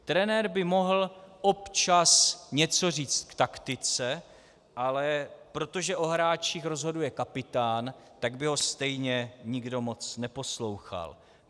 Trenér by měl občas něco říct k taktice, ale protože o hráčích rozhoduje kapitán, tak by ho stejně nikdo moc neposlouchal.